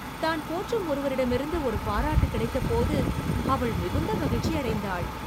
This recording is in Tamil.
தான் போற்றும் ஒருவரிடமிருந்து ஒரு பாராட்டு கிடைத்தபோது அவள் மிகுந்த மகிழ்ச்சி அடைந்தாள்.